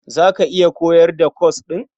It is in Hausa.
Za ka iya koyar da kwas ɗin?